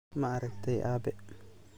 Maaragtey aabe?